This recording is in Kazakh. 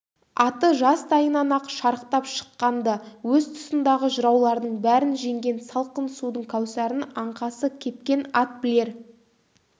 аты жастайынан-ақ шарықтап шыққан-ды өз тұсындағы жыраулардың бәрін жеңген салқын судың кәусарын аңқасы кепкен ат білер